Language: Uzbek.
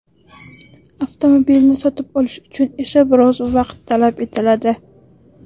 Avtomobilni sotib olish uchun esa biroz vaqt talab etiladi.